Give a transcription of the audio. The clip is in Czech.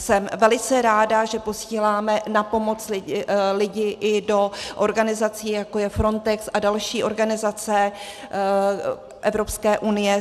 Jsem velice ráda, že posíláme na pomoc lidi i do organizací, jako je Frontex a další organizace Evropské unie.